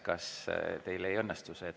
Kas teil ei õnnestu see?